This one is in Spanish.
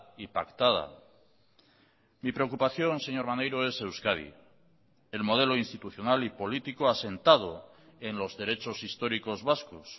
y pactada mi preocupación señor maneiro es euskadi el modelo institucional y político asentado en los derechos históricos vascos